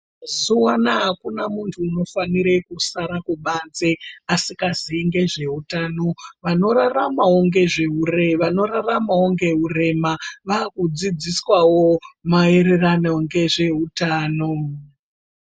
Mazuwanaya akuna muntu unofanire kusara kubanze asingazii ngezveutano vanoraramawo ngezveure , vanoraramawo ngeurema vakudzidziswawo maererano ngezveutano.